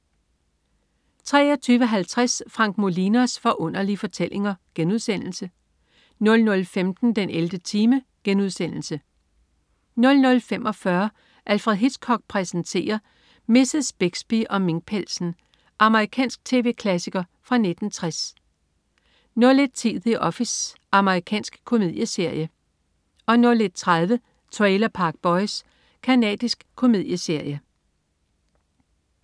23.50 Frank Molinos Forunderlige Fortællinger* 00.15 den 11. time* 00.45 Alfred Hitchcock præsenterer: Mrs. Bixby og minkpelsen. Amerikansk tv-klassiker fra 1960 01.10 The Office. Amerikansk komedieserie 01.30 Trailer Park Boys. Canadisk komedieserie